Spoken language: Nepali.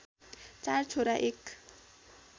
चार छोरा एक